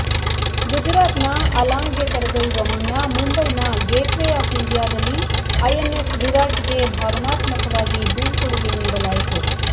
ಗುಜರಾತ್ ನ ಅಲಾಂಗ್ಗೆ ಕರೆದೊಯ್ಯುವ ಮುನ್ನ ಮುಂಬೈನ ಗೇಟ್ ವೇ ಆಫ್ ಇಂಡಿಯಾದಲ್ಲಿ ಐಎನ್ಎಸ್ ವಿರಾಟ್ಗೆ ಭಾವನಾತ್ಮಕವಾಗಿ ಬೀಳ್ಕೊಡುಗೆ ನೀಡಲಾಯಿತು